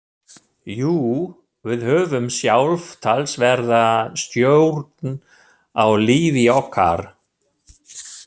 Jú, við höfum sjálf talsverða stjórn á lífi okkar.